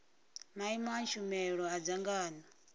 maimo a tshumelo a dzangano